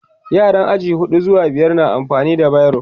yaran aji huɗu zuwa biyar na amfani da biro